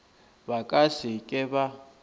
ba ka se ke ba